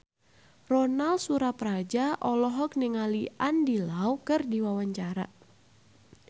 Ronal Surapradja olohok ningali Andy Lau keur diwawancara